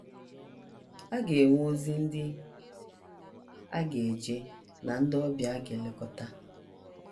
A ga - enwe ozi ndị a ga - eje na ndị ọbịa a ga - elekọta.